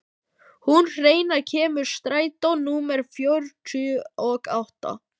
Húnn, hvenær kemur strætó númer fjörutíu og átta?